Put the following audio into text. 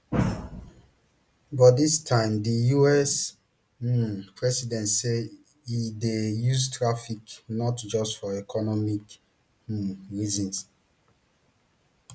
but dis time di us um president say e dey use tariffs not just for economic um reasons